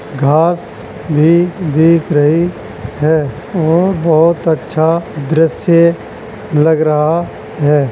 घाँस भी दिख रही है। वो बहुत अच्छा दृश्य लग रहा हैं।